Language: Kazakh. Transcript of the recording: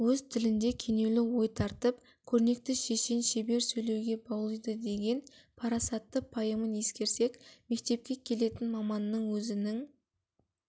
өз тілінде кенеулі ой тартып көрнекті шешен шебер сөйлеуге баулиды деген парасатты пайымын ескерсек мектепке келетін маманның өзінің